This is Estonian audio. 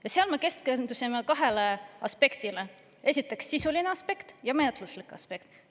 Ja seal me keskendusime kahele aspektile: esiteks, sisuline aspekt, ja, menetluslik aspekt.